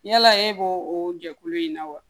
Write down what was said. Yala e b'o o jɛkulu in na wa